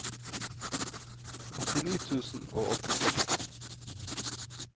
åttini tusen og åttiseks